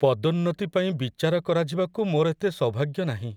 ପଦୋନ୍ନତି ପାଇଁ ବିଚାର କରାଯିବାକୁ ମୋର ଏତେ ସୌଭାଗ୍ୟ ନାହିଁ।